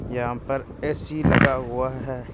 यहां पर ए_सी लगा हुआ है।